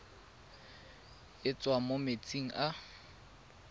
e tswang mo metsing a